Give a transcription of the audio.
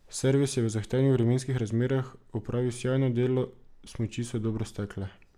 Servis je v zahtevnih vremenskih razmerah opravil sijajno delo, smuči so dobro stekle.